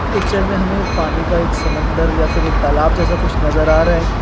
Picture में हमें एक पानी का एक समुन्द्र या फिर एक तालाब जैसा कुछ नजर आ रहा है।